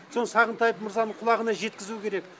соны сағынтаев мырзаның құлағына жеткізу керек